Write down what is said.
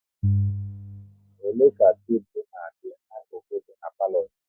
Ole ka tebụl na adị na-akuku dị n'palo gị?